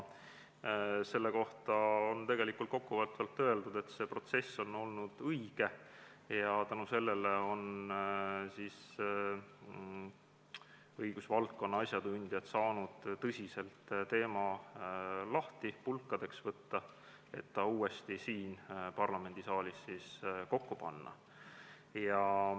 Selle kohta on kokkuvõttes öeldud, et see protsess oli õige ja tänu sellele on õigusvaldkonna asjatundjad saanud teema tõsiselt pulkadeks lahti võtta, et ta uuesti siin parlamendisaalis kokku panna.